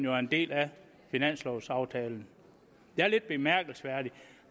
er en del af finanslovaftalen det er lidt bemærkelsesværdigt